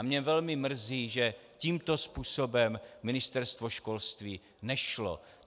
A mě velmi mrzí, že tímto způsobem Ministerstvo školství nešlo.